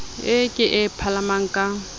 eo ke e palamang ka